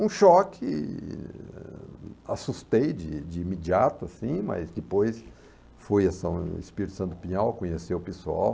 Um choque, assustei de de imediato, enfim, mas depois fui ao Espírito Santo Pinhal, conhecer o pessoal,